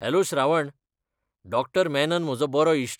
Hello Shravan! Dr Menon म्हजो बरो इश्ट.